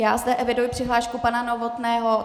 Já zde eviduji přihlášku pana Novotného.